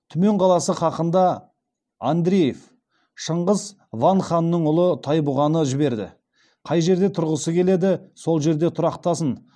түмен қаласы хақында андреев шыңғыс ван ханның ұлы тайбұғаны жіберді қай жерде тұрғысы келеді сол жерде тұрақтасын